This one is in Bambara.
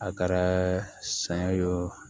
A kɛra san ye o